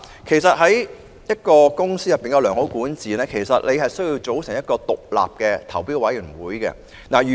其實，一間公司要有良好管治，需要組成一個獨立的投標委員會。